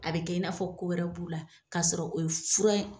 A bɛ kɛ i n'a fɔ ko wɛrɛ b'u la, k'a sɔrɔ o ye fura in